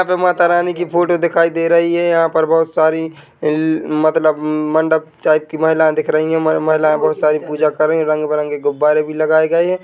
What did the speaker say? यहाँ पे मातारानी की फोटो दिखाई दे रही हैं यहाँ पर बहोत सारी मतलब मंडप टाइप की महिलाएं दिख रही हैं महिलाएं बहोत सारी पूजा कर रही हैं रंग-बिरंगे गुब्बारे भी लगाए गए हैं।